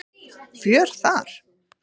Fjör þar.